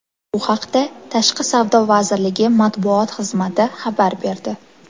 Bu haqda Tashqi savdo vazirligi matbuot xizmati xabar berdi .